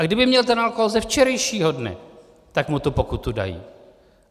A kdyby měl ten alkohol ze včerejšího dne, tak mu tu pokutu dají.